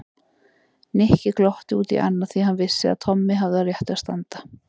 Nikki glotti út í annað því hann vissi að Tommi hafði á réttu að standa.